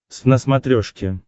твз на смотрешке